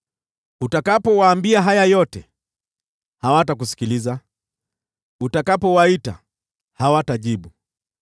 “Utakapowaambia haya yote, hawatakusikiliza; utakapowaita, hawatajibu.